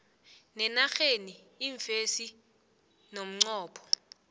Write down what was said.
ngenarheni iimfesi ngomnqopho